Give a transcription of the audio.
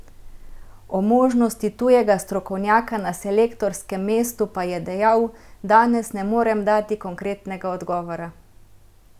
O možnosti tujega strokovnjaka na selektorskem mestu pa je dejal: "Danes ne morem dati konkretnega odgovora.